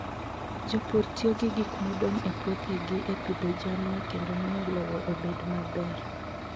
Jopur tiyo gi gik modong' e puothegi e pidho jamni kendo miyo lowo obed maber.